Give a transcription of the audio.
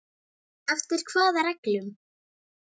Hvernig les Helgi í það?